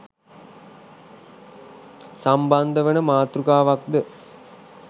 සම්බන්ධ වන මාතෘකාවක්ද